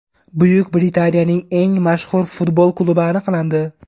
Buyuk Britaniyaning eng mashhur futbol klubi aniqlandi.